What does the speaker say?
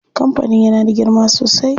Kampanin yana da girma sosai.